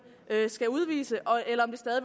skal udvise